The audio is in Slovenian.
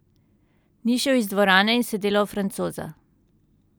Ni šel iz dvorane in se delal francoza.